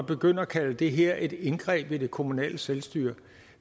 begynde at kalde det her et indgreb i det kommunale selvstyre